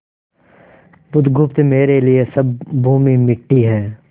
बुधगुप्त मेरे लिए सब भूमि मिट्टी है